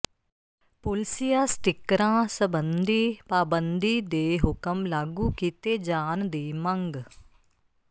ਪੁਲਸੀਆ ਸਟਿੱਕਰਾਂ ਸਬੰਧੀ ਪਾਬੰਦੀ ਦੇ ਹੁਕਮ ਲਾਗੂ ਕੀਤੇ ਜਾਣ ਦੀ ਮੰਗ